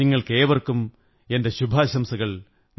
നിങ്ങള്ക്കേ്വര്ക്കും എന്റെ ശുഭാശംസകൾ